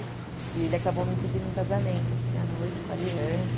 E ele acabou me pedindo em casamento, assim, à noite, com a Aliança.